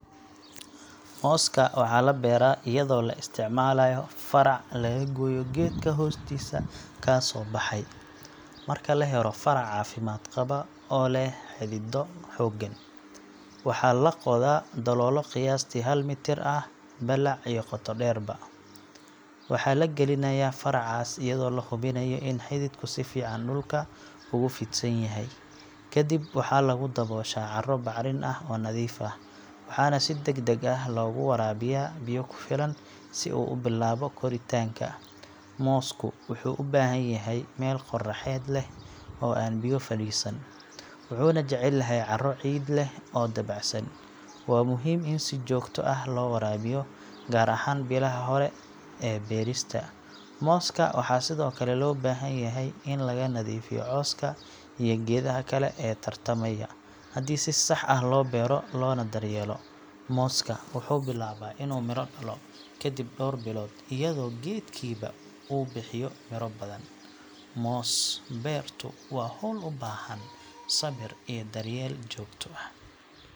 Mooska waxaa la beeraa iyadoo la isticmaalayo farac laga gooyo geedka hoostiisa kasoo baxay. Marka la helo farac caafimaad qaba oo leh xidido xooggan, waxaa la qodaa dalool qiyaastii hal mitir ah balac iyo qoto dheerba. Waxaa la gelinayaa faracaas iyadoo la hubinayo in xididku si fiican dhulka ugu fidsan yahay. Kadib waxaa lagu dabooshaa carro bacrin ah oo nadiif ah, waxaana si degdeg ah loogu waraabiyaa biyo ku filan si uu u bilaabo koritaanka. Moosku wuxuu u baahan yahay meel qorraxeed leh oo aan biyo fadhiisan, wuxuuna jecel yahay carro ciid leh oo dabacsan. Waa muhiim in si joogto ah loo waraabiyo gaar ahaan bilaha hore ee beerista. Mooska waxaa sidoo kale loo baahan yahay in laga nadiifiyo cawska iyo geedaha kale ee tartamaya. Haddii si sax ah loo beero loona daryeelo, mooska wuxuu bilaabaa inuu miro dhalo kadib dhowr bilood iyadoo geedkiiba uu bixiyo miro badan. Moos beertu waa hawl u baahan sabir iyo daryeel joogto ah.